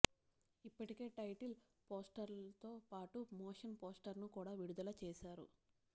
ఇప్పటికే టైటిల్ పోస్టర్తో పాటు మోషన్ పోస్టర్ను కూడా విడుదల చేశారు